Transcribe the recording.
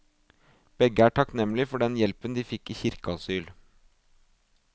Begge er takknemlig for den hjelpen de fikk i kirkeasyl.